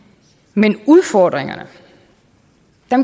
men udfordringerne